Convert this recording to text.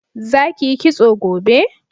Za ki yi kitso gobe!